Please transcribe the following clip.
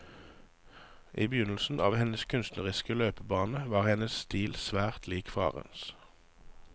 I begynnelsen av hennes kunstneriske løpebane var hennes stil svært lik farens.